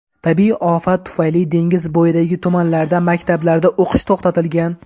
Tabiiy ofat tufayli dengiz bo‘yidagi tumanlarda maktablarda o‘qish to‘xtatilgan.